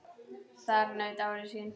Þar naut Ari sín.